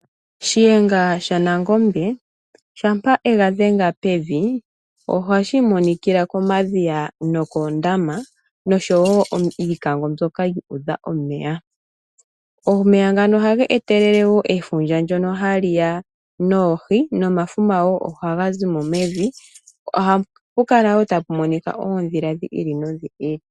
Shiyenga shanangombe shampa yega dhenga pevi ohashi imonikila Komadhiya no koondama .omeya ngano ohaga etelele efundja ndono haliwa noohi nomafuma woo ohaga zimo mevi. Ohapukala woo tapumonika oondhila dhi ili noshi ili.